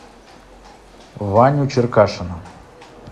ваню черкашина